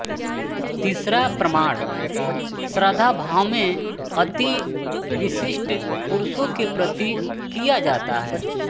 तीसरा प्रणाम श्रद्धाभाव में अति विशिष्ट पुरुषों के प्रति किया जाता है